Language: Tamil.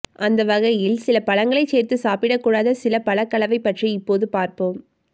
அந்த வகையில் சில பழங்களை சேர்த்து சாப்பிடக் கூடாத சில பழக் கலவை பற்றி இப்போது பார்ப்போம்